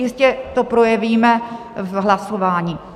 Jistě to projevíme v hlasování.